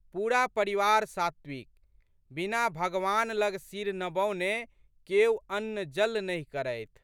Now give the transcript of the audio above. पूरा परिवार सात्विक। बिना भगवान लग सिर नबौने केओ अन्नजल नहि करथि।